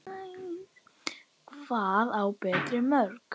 Hvað á Berti mörg?